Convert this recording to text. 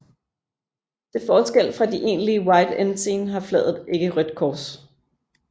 Til forskel fra de egentlige white ensign har flaget ikke rødt kors